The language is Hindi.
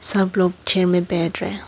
सब लोग चेयर में बैठ रहे--